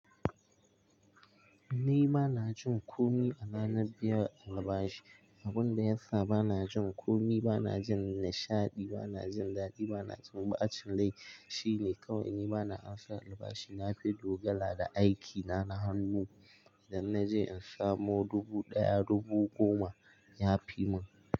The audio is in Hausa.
Ni ba na jin komi a ranar biyan albashi. Abin da ya sa ba na jin komi, ba na jin nishaɗi, ba na jin daɗi, ba na jin ɓacin rai shine kawai ni ba na amsa albashi. Na fi dogara da aikina na hannu idan na je in samo dubu ɗaya, dubu goma ya fi mun.